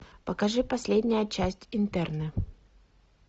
покажи последняя часть интерны